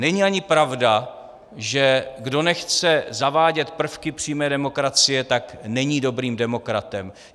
Není ani pravda, že kdo nechce zavádět prvky přímé demokracie, tak není dobrým demokratem.